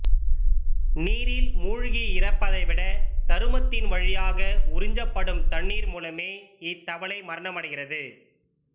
நீரில் மூழ்கி இறப்பதைவிட சருமத்தின் வழியாக உறிஞ்சப்படும் தண்ணீர் மூலமே இத்தவளை மரணமடைகிறது